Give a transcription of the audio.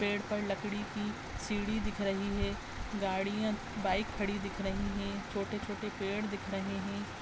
पेड़ पर लकड़ी की सीढ़ी दिख रही है। गाड़ियाँ बाइक खड़ी दिख रही हैं। छोटे-छोटे पेड़ दिख रहे हैं।